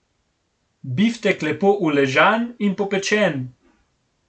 Biftek lepo uležan in popečen.